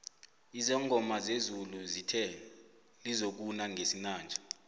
izangoma zezulu zithe lizokuna ngesinanje